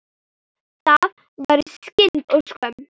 Það væri synd og skömm.